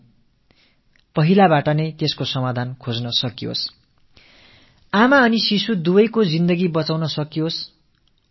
9ஆவது மாதம் நெருங்கும் சமயத்தில் சிக்கல் ஏதேனும் ஏற்படும் சாத்தியக்கூறு இருக்குமேயானால் அதற்கான தீர்வையும் திட்டமிட்டுக் கொள்ள இது வசதியாக இருக்கும்